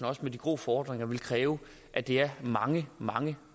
også med de grå fordringer vil kræve at det er mange mange